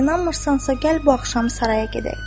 İnanmırsansa, gəl bu axşam Saraya gedək.